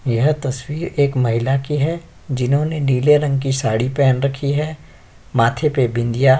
यह तस्वीर एक महिला की है। जिन्होंने नीले रंग की साड़ी पहन रखी है। माथे पे बिंदिया --